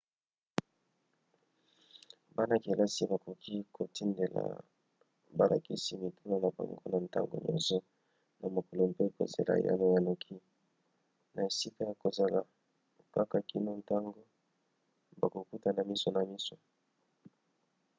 bana-kelasi bakoki kotindela balakisi mituna na bango na ntango nyonso na mokolo mpe kozela eyano ya noki na esika ya kozala kaka kino ntango bakokutana miso na miso